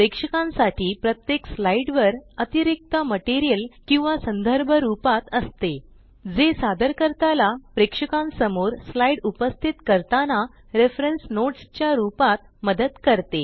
प्रेक्षकांसाठी प्रत्येक स्लाइड वर अतिरिक्त मटेरियल किंवा संदर्भ रूपात असते जे सादरकर्ता ला प्रेक्षकांसमोर स्लाइड उपस्थित करताना रेफरेन्स नोट्स च्या रूपात मदत करते